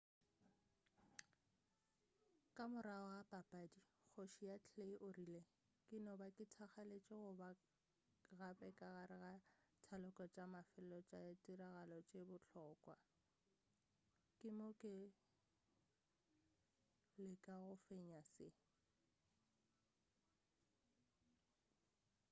ka morago ga papadi kgoši ya clay o rile ke no ba ke thakgaletši go ba gape ka gare ga taloko tša mafelelo tša dirtiragalo tše bohlokwa ke mo go leka go fenya se